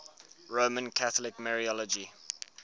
roman catholic mariology